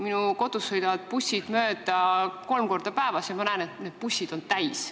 Minu kodust sõidavad bussid mööda kolm korda päevas ja ma näen, et need bussid on täis.